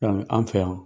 Yani an fɛ yan